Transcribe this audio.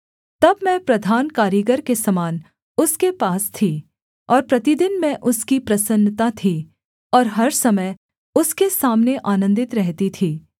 तब मैं प्रधान कारीगर के समान उसके पास थी और प्रतिदिन मैं उसकी प्रसन्नता थी और हर समय उसके सामने आनन्दित रहती थी